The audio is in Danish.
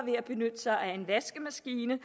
ved at benytte sig af en vaskemaskine